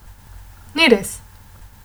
Ni res!